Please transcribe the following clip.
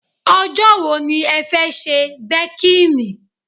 Ọjọ́ wo ni ẹ fẹ́ ṣe dẹ́kìnì?